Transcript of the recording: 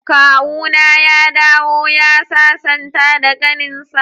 Kawuna ya dawo ya sasanta da kaninsa.